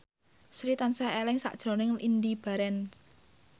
Sri tansah eling sakjroning Indy Barens